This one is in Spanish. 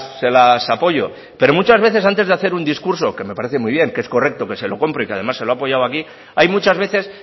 se las apoyo pero muchas veces antes de hacer un discurso que me parece muy bien que es correcto que se lo compro y que además se lo he apoyado aquí hay muchas veces